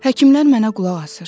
Həkimlər mənə qulaq asır.